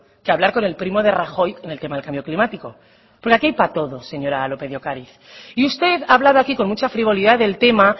que hablar con el primo de rajoy en el tema del cambio climático aquí hay para todos señora lópez de ocariz y usted ha hablado aquí con mucha frivolidad del tema